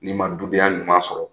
N'i ma dudenya ɲuman sɔrɔ